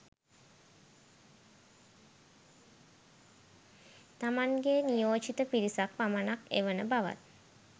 තමන්ගේ නියෝජිත පිරිසක් පමණක් එවන බවත්